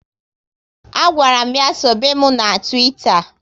A gwara m ya sobe mụ na Twitter